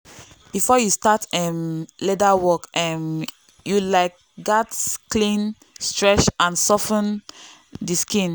before you start um leather work um you um gatz clean stretch and sof ten the skin.